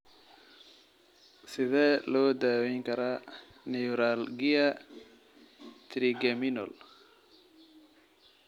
Sidee loo daweyn karaa neuralgia trigeminal?